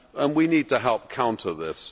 We need to help counter this.